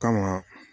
Kama